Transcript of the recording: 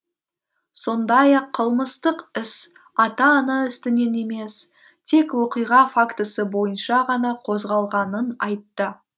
сондай ақ қылмыстық іс ата ана үстінен емес тек оқиға фактісі бойынша ғана қозғалғанын айтты